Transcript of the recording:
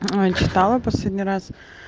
читала последний раз